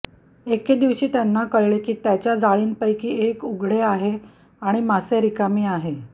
एके दिवशी त्यांना कळले की त्याच्या जाळींपैकी एक जण उघडे आहे आणि मासे रिकामी आहे